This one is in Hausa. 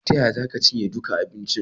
Ta yaya za ka cinye duka abincin?